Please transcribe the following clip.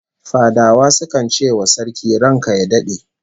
Fadawa sukan ce wa Sarki "ranka ya dade"